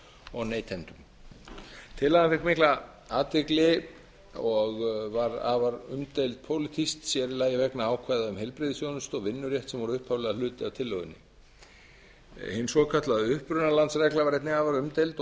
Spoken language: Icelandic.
og neytendum tillagan fékk mikla athygli og var afar umdeild pólitískt sér í lagi vegna ákvæða um heilbrigðisþjónustu og vinnurétt sem voru upphaflega hluti af tillögunni hin svokallaða upprunalandsregla var einnig afar umdeild og